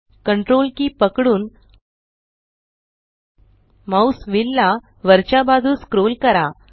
Ctrl की पकडून mouse wheel ला वरच्या बाजूस स्क्रोल करा